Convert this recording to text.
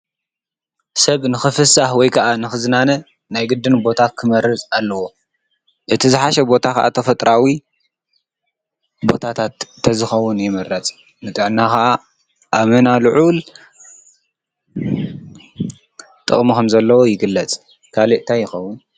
ሰብ ንክፍሳህ ወይ ከዓ ንኽዝናነ ናይ ግድን ቦታ ክመርጽ ኣለዎ፡፡ እቲ ዝሓሸ ቦታ ኸዓ ተፈጥራዊ ቦታታት ተዝኸዉን ይምረፅ፡፡ ንጥዕና ኸዓ ኣመና ልዑል ጥቕኪ ኸምዘለዎ ይግለፅ፡፡ ካልእ እንታይ ይኸዉን?